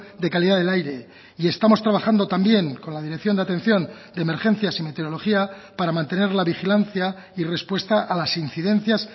de calidad del aire y estamos trabajando también con la dirección de atención de emergencias y meteorología para mantener la vigilancia y respuesta a las incidencias